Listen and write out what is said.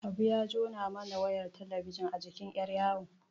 Habu ya jona mana wayar talabijin a jikin yar'yawo.